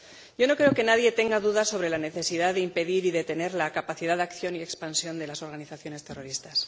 Yo no creo que nadie tenga dudas sobre la necesidad de impedir y detener la capacidad de acción y expansión de las organizaciones terroristas.